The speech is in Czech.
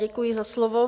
Děkuji za slovo.